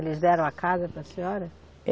Eles deram a casa para a senhora?